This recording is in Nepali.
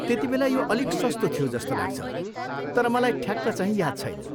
त्यतिबेला यो अलिक सस्तो थियो जस्तो लाग्छ, तर मलाई ठ्याक्कचाहिँ याद छैन।